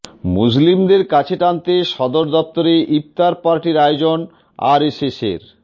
মুসলিমদের কাছে টানতে সদর দপ্তরে ইফতার পার্টির আয়োজন আরএসএসের